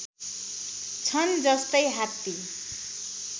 छन् जस्तै हात्ती